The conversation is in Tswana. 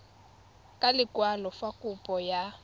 ka lekwalo fa kopo ya